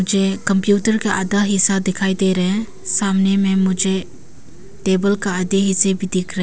मुझे कंप्यूटर का आधा हिस्सा दिखाई दे रहे हैं सामने में मुझे टेबल का आधे हिस्से भी दिख रहे--